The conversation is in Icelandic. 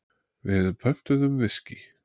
Við pöntuðum viskí.